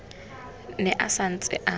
ne a sa ntse a